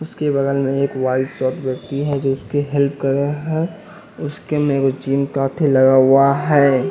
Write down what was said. उसके बगल में एक वाइस शॉट व्यक्ति है जो उसके हेल्प कर रहा है उसके मेरे जीम काफी लगा हुआ है।